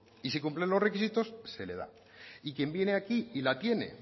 y si cumple los requisitos se le da y quien viene aquí y la tiene